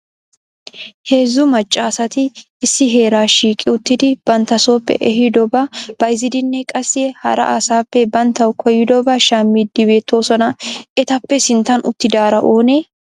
Heezzu macca asati issi heera shiiqi uttidi bantta sooppe ehiidoba bayzzidinne qassi hara asappe banttaw koyyidooba shammidi beettoosona. Etappe sinttan uttidaara oone?